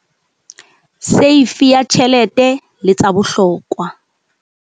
Seifi ya tjhelete le tsa bohlokwa.